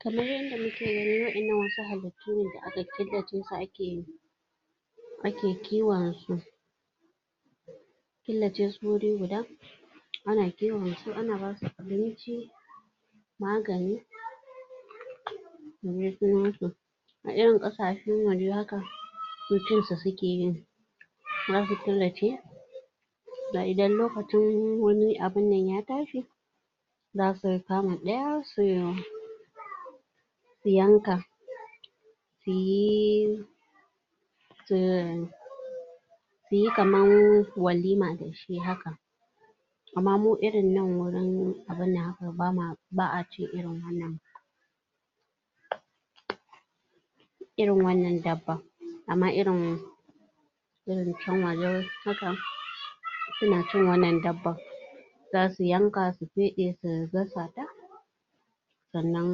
Kamar yanda muke gani waɗannan wasu halittu ne da aka killace su a ke yin ake kiwon su killace su wuri guda ana kiwon su ana basu abinci magani, a irin ƙasashen waje haka su cin sa sukeyi zasu killace da idan lokacin wani abunnan ya tashi za su kama daya su yanka suyi su suyi kaman walima da shi haka amma mu irin nan wajen abinnan haka ba a cin irin wannan irin wannan dabban amma irin irin kyanwa dai haka suna cin wannan dabban za su yanka su feɗe su gasa ta sannan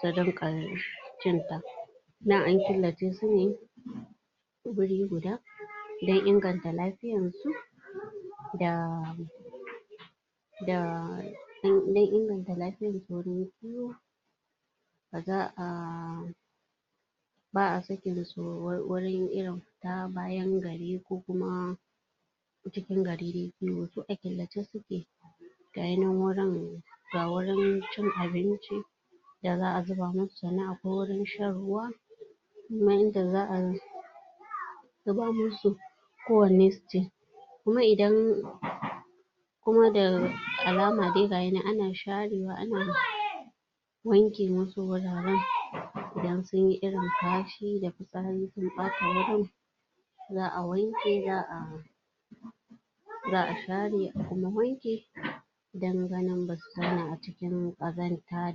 su rinƙa cin ta nan an killace su ne guri guda don inganta lafiyan su da da don inganta lafiyan da za a ba a sakin su wurin irin fita bayan gari ko kuma cikin gari dai a killace suke ga yi nan wurin, ga wurin cin abinci da za a zuba musu sannan akwai wurin shan ruwa kuma inda za a zuba musu kowanne su ci kuma idan kuma da alama dai gayinan ana sharewa ana wanke wasu wuraren idan sunyi irin kashi sun ɓata wurin za a wanke za a za a share a kuma wanke don ganin basu zauna a cikin ƙazanta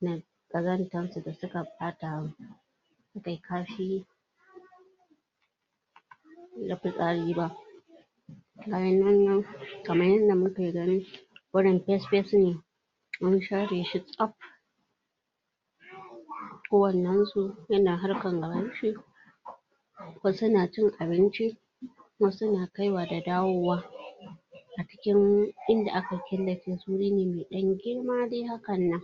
da ƙazantar su da suka ɓata kashi da fitsari ba bayanan nan kaman yanda muke gani wurin fes fes ne an share shi tsaf kowannen su yana harkan gaban shi wasu na cin abinci wasu na kai wa da dawowa a cikin inda aka killace su wuri ne mai ɗan girma dai hakannan.